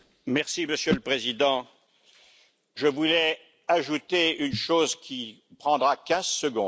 Monsieur le Président, je voulais ajouter une chose qui prendra quinze secondes.